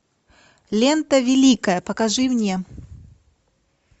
лента великая покажи мне